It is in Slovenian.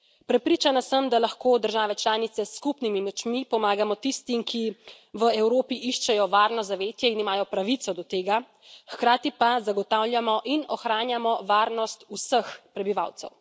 Prepričana sem, da lahko države članice s skupnimi močmi pomagamo tistim, ki v Evropi iščejo varno zavetje in imajo pravico do tega hkrati pa zagotavljamo in ohranjamo varnost vseh prebivalcev.